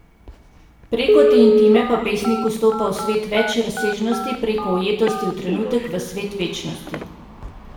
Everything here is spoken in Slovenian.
Preko te intime pa pesnik vstopa v svet več razsežnosti, preko ujetosti v trenutek v svet večnosti.